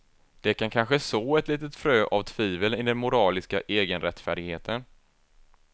Det kan kanske så ett litet frö av tvivel i den moraliska egenrättfärdigheten.